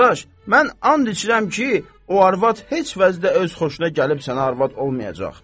Qardaş, mən and içirəm ki, o arvad heç vəzda öz xoşuna gəlib sənə arvad olmayacaq.